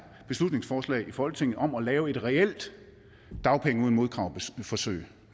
beslutningsforslag i folketinget om at lave et reelt dagpenge uden modkrav forsøg